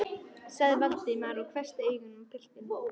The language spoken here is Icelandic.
sagði Valdimar og hvessti augun á piltinn.